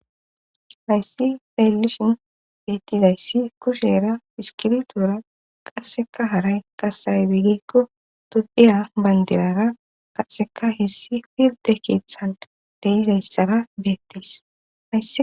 Hayssi taellishin bettidayssi kushera iskiritura qasseka haray qasaybiigikko dupiya bandirara qasseka heessi filde kiithan deizayssara beettisy